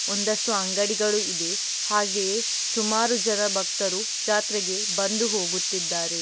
ಒಂದಷ್ಟು ಅಂಗಡಿಗಳು ಇದೆ ಹಾಗೆಯೇ ಸುಮಾರು ಜನ ಭಕ್ತರು ಜಾತ್ರೆಗೆ ಬಂದು ಹೋಗುತ್ತಿದ್ದಾರೆ.